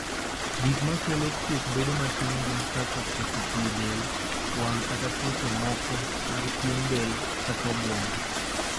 Gik ma kelo kuok bedo matin gin kaka koso pii e del, wang' kata tuoche moko mag pien del kata obwongo.